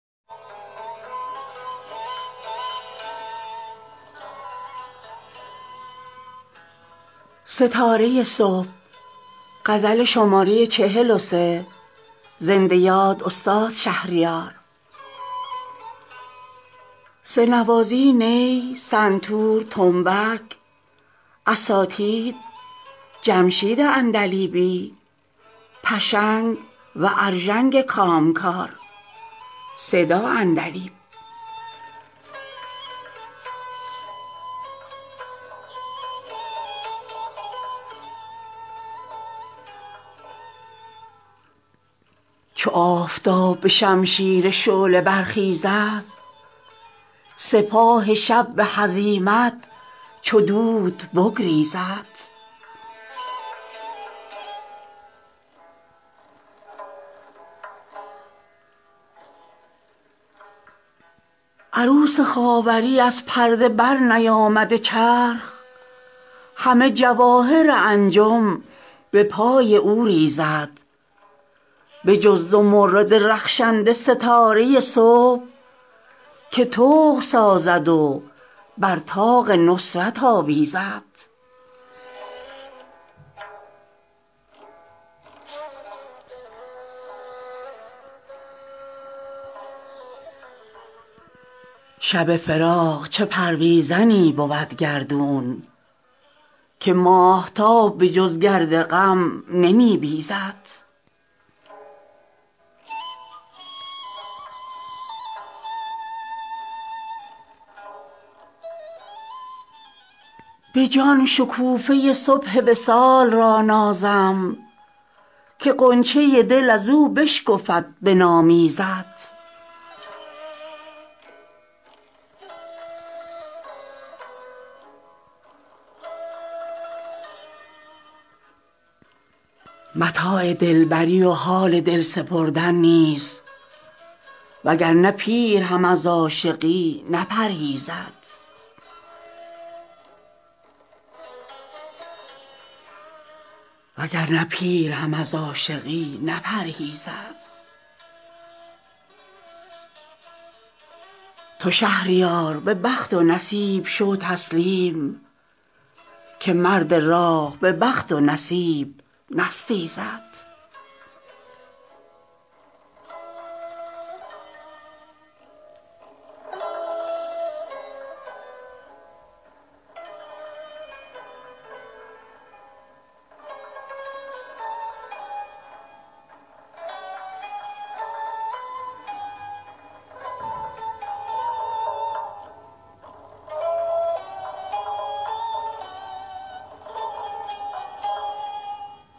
چو آفتاب به شمشیر شعله برخیزد سپاه شب به هزیمت چو دود بگریزد عروس خاوری از پرده برنیامده چرخ همه جواهر انجم به پای او ریزد بجز زمرد رخشنده ستاره صبح که طوق سازد و بر طاق نصرت آویزد شب فراق چه پرویزنی بود گردون که ماهتاب به جز گرد غم نمی بیزد به جان شکوفه صبح وصال را نازم که غنچه دل ازو بشکفد به نام ایزد به عشق های جوانانه حسرتم آری چگونه یاد جوانی هوس نینگیزد متاع دلبری و حال دل سپردن نیست وگرنه پیر هم از عاشقی نپرهیزد صفای عشق و محبت گر از جوان یا پیر به مردمی که به نامردمی نیامیزد تو شهریار به بخت و نصیب شو تسلیم که مرد راه به بخت و نصیب نستیزد